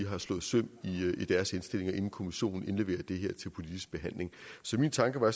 har slået søm i deres indstillinger inden kommissionen indleverer det til politisk behandling så min tanke var